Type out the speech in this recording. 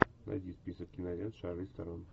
найди список кинолент шарлиз терон